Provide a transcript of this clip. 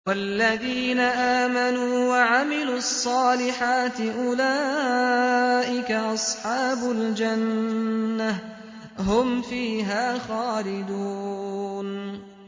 وَالَّذِينَ آمَنُوا وَعَمِلُوا الصَّالِحَاتِ أُولَٰئِكَ أَصْحَابُ الْجَنَّةِ ۖ هُمْ فِيهَا خَالِدُونَ